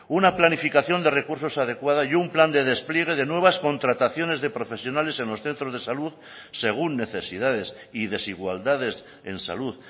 una planificación de recursos adecuada y un plan de despliegue de nuevas contrataciones de profesionales en los centros de salud según necesidades y desigualdades en salud